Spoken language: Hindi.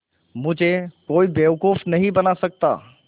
मुझे कोई बेवकूफ़ नहीं बना सकता